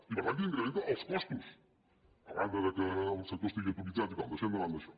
i per tant que n’in·crementa els costos a banda que el sector estigui ato·mitzat i tal deixant de banda això